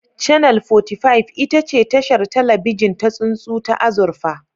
Channel 45 ita ce tashar talabijin ta tsuntsu ta azurfa